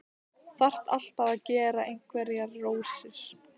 Þarf alltaf að gera einhverjar rósir.